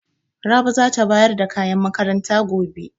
Rabi za ta bayar da kayan makaranta gobe.